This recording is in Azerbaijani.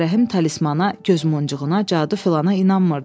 Ağarəhim talismana, gözmuncuğuna, cadu filana inanmırdı.